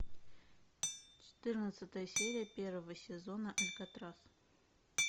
четырнадцатая серия первого сезона алькатрас